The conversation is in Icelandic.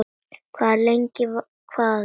Hvað lengi, hvað lengi?